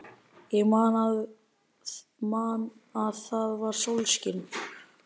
Ég man að það var sólskin.